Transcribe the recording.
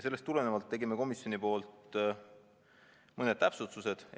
Sellest tulenevalt tegime komisjonis mõned täpsustused.